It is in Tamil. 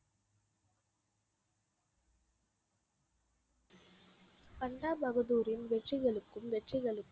பஞ்சாப் பகுதூரின் வெற்றிகளுக்கும் வெற்றிகளுக்கும்